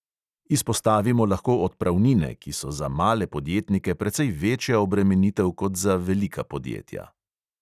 Izpostavimo lahko odpravnine, ki so za male podjetnike precej večja obremenitev kot za velika podjetja.